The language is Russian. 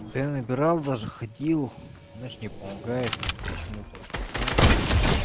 да я набирал даже ходил значит не помогает почему-то не знаю почему